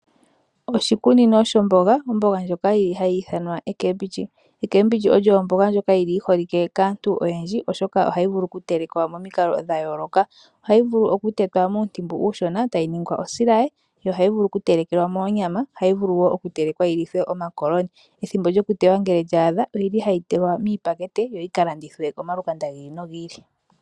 Oshikunino sho mboga, omboga oyi holike kaantu oyendji oshoka ohayi vulu okutelekwa momikalo dha yooloka , ohayi vulu okutetwa muutimbu uushona tayi tulwa mosilaye , yoo ohayi vulu oku telekelwa moonyama ohayi vulu woo okutelekwa yi lìwe no makoloni. Ethimbo lyo kuteya sho lya thiki ohayi tulwa miipakete yo yi kalandithwe kamalukanda gi ili no gi ili.